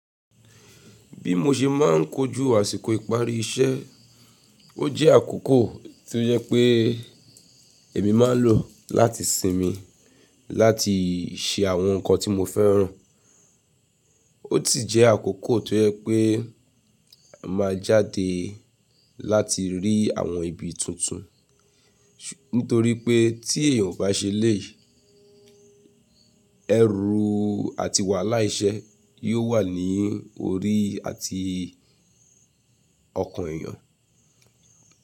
Bí mo ṣe máà ń kojú àsìkò ìparí iṣẹ́, ó jẹ́ àkókò tó yẹ pé èmi máa lò láti sinmi, láti ṣe àwọn nkan tí mo fẹ́ràn. Ó tì jẹ́ àkókò tó yẹ pé a máa jáde láti rí àwọn ibi tuntun. Nítorí pé tí èèyàn ó bá ṣe eléèy, ẹrú àti wàhálà iṣẹ́ yóò wà ní orí àti ọkàn èèyàn.